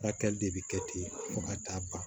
Furakɛli de bɛ kɛ ten fo ka taa ban